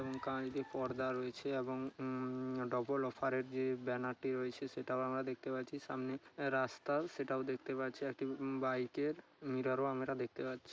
এবং কালকে পর্দা রয়েছে এবং উ-ম-ম ডবল অফার -এর যে ব্যানারটি রয়েছে সে-সেটাও আমরা দেখতে পারছি সামনে রাস্তার সেটাও দেখতে পাচ্ছিএকটি উ- বাইক -এর মিররও আমরা দেখতে পাচ্ছি।